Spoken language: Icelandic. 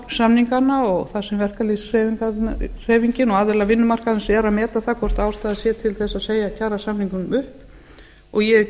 kjarasamningana og þar sem verkalýðshreyfingin og aðilar vinnumarkaðarins eru að meta það hvort ástæða sé til þess að segja kjarasamningunum upp ég hef